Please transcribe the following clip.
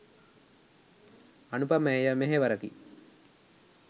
අනූපමේය මෙහෙවරකි.